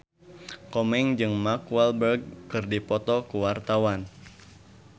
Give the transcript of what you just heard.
Komeng jeung Mark Walberg keur dipoto ku wartawan